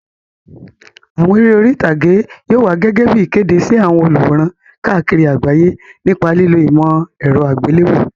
Àwọn eré orí ìtàgé yóò wá gẹ́gẹ́ bí ìkéde sí àwọn olùwòran káàkiri àgbáyé nípa lílo ìmọ̀ ẹ̀rọ àgbéléwò.